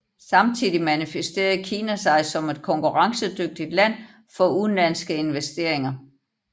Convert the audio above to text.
Samtidig manifesterede Kina sig som et konkurrencedygtigt land for udenlandske investeringer